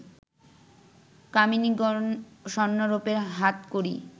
কামিনীগণ স্বর্ণরোপ্যের হাতকড়ী